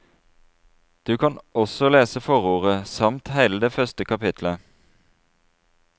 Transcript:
Du kan også lese forordet, samt hele det første kapittelet.